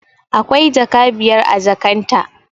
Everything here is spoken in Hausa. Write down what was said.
Akwai jaka biyar a jakan ta